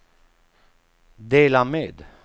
dela med